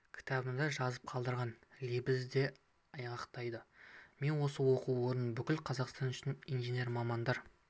кітабында жазып қалдырған лебізі де айғақтайды мен осы оқу орнында бүкіл қазақстан үшін инженер мамандар